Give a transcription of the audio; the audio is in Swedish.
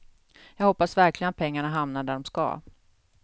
Jag hoppas verkligen att pengarna hamnar där de ska.